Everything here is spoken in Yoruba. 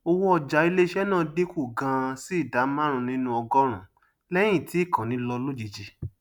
owó ọjà iléiṣé náà dín kù ganan sí ìdá márùnún nínú ọgọrùnún lẹyìn tí ìkànnì lọ lójijì